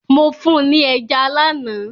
Mo fún ni ẹja lánàá.